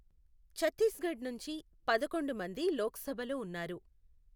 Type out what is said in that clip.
ఛత్తీస్గఢ్ నుంచి పదకొండు మంది లోక్సభలో ఉన్నారు.